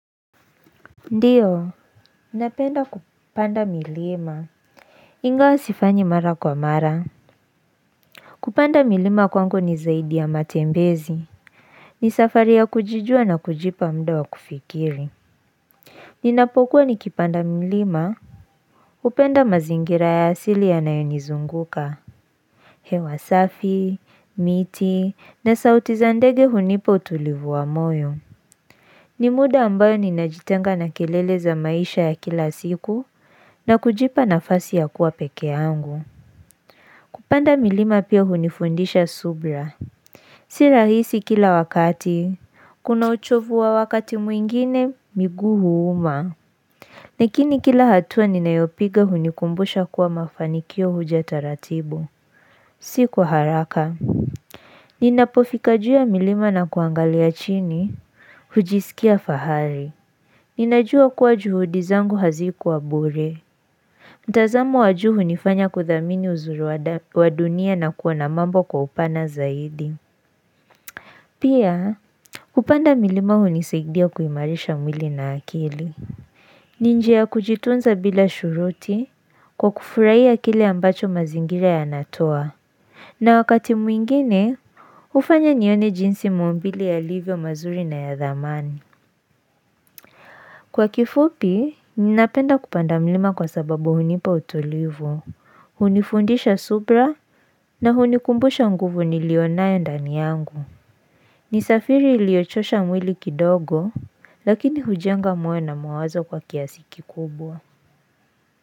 Ndiyo, ninapenda kupanda milima Ingawa sifanyi mara kwa mara Kupanda milima kwangu ni zaidi ya matembezi ni safari ya kujijua na kujipa muda wa kufikiri Ninapokuwa nikipanda mlima hupenda mazingira ya asili yanayenizunguka hewa safi, miti, na sauti za ndege hunipa utulivu wa moyo Nimuda ambayo ninajitenga na kelele za maisha ya kila siku na kujipa nafasi ya kuwa peke yangu. Kupanda milima pia hunifundisha subra. Si rahisi kila wakati, kuna uchovu wa wakati mwingine miguu huuma. Lakini kila hatua ninayopiga hunikumbusha kuwa mafanikio huja taratibu. Si kwa haraka. Ninapofika juu ya milima na kuangalia chini, hujisikia fahari. Ninajua kuwa juhudi zangu hazikuwa bure mtazamo wajuu hunifanya kuthamini uzuri wadunia na kuona mambo kwa upana zaidi Pia kupanda milima hunisaidia kuimarisha mwili na akili ni njia ya kujitunza bila shuruti kwa kufuraia kile ambacho mazingira yanatoa na wakati mwingine hufanya nione jinsi maumbile yalivyo mazuri na ya dhamani. Kwa kifupi, ninapenda kupanda mlima kwa sababu hunipa utulivu, hunifundisha subra na hunikumbusha nguvu nilionaye ndani yangu. Nisafiri iliochosha mwili kidogo, lakini hujenga mwe na mawazo kwa kiasi kikubwa.